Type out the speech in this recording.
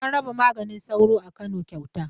An raba maganin sauro a Kano kyauta.